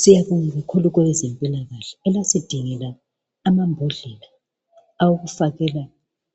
Siyabonga kakhulu kwabezempilakahle elasidingela amambodlela owokufakela